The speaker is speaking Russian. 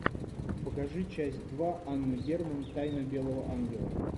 покажи часть два анна герман тайна белого ангела